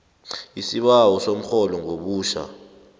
isibawo somrholo ngobutjha